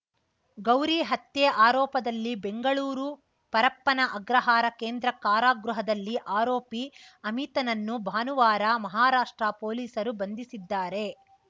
ಗೌರಿ ಹತ್ಯೆ ಆರೋಪದಲ್ಲಿ ಬೆಂಗಳೂರು ಪರಪ್ಪನ ಅಗ್ರಹಾರ ಕೇಂದ್ರ ಕಾರಾಗೃಹದಲ್ಲಿ ಆರೋಪಿ ಅಮಿತ್‌ನನ್ನು ಭಾನುವಾರ ಮಹಾರಾಷ್ಟ್ರ ಪೊಲೀಸರು ಬಂಧಿಸಿದ್ದಾರೆ